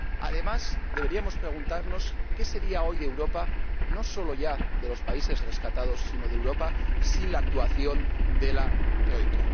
Además, deberíamos preguntarnos qué sería hoy de Europa —no solo ya de los países rescatados, sino de Europa— sin la actuación de la Troika.